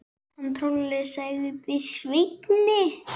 Hann Tolli, sagði Svenni.